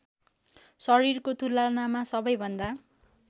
शरीरको तुलनामा सबैभन्दा